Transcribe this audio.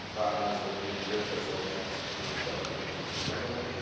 Fragen des europäischen Wirtschaftsraums zu diskutieren, scheint mir wichtig zu sein.